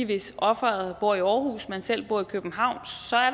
hvis offeret bor i aarhus og man selv bor i københavn